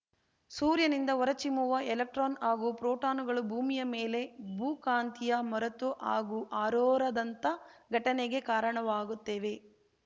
ಸೂರ್ಯನಿಂದ ಹೊರಚಿಮ್ಮುವ ಎಲೆಕ್ಟ್ರಾನ್‌ ಹಾಗೂ ಪ್ರೋಟಾನುಗಳು ಭೂಮಿಯ ಮೇಲೆ ಭೂಕಾಂತಿಯ ಮರತು ಹಾಗೂ ಅರೋರಾದಂಥ ಘಟನೆಗೆ ಕಾರಣವಾಗುತ್ತೇವೆ